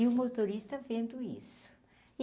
E o motorista vendo isso.